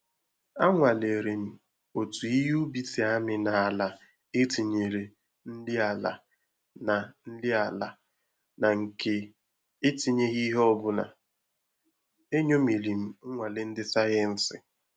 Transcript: Anwalere m otu ihe ubi si amị na ala e tịnyere nri ala na nri ala na nke e tinyeghi ihe ọbụla. Enyomiri m nnwale ndị sayensị